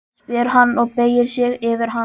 spyr hann og beygir sig yfir hana.